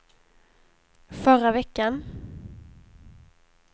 förra veckan